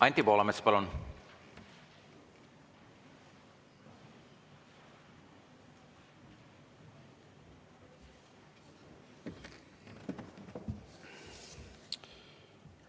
Anti Poolamets, palun!